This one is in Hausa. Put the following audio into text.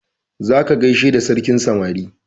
Za ka gaishe da sarkin samari!